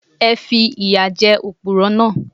Ẹ fi ìyà jẹ Òpùrọ́ náà.